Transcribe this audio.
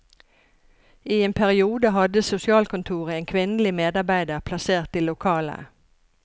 I en periode hadde sosialkontoret en kvinnelig medarbeider plassert i lokalet.